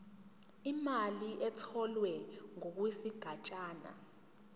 imali etholwe ngokwesigatshana